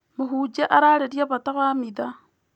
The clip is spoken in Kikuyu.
Mũhunjia ararĩrĩria bata wa mitha.